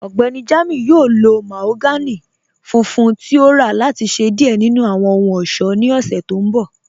Ọgbẹ́ni Jamiu yọ̀ò lọ̀ mahogany fùnfùn tí o rà láti ṣẹ diẹ̀ nínu awọn ọhun-ọṣọ́ ní ọ̀ṣẹ̀ tó nbọ̀.